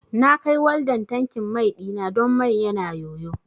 Na kai waldan tankin mai ɗina don mai yana yoyo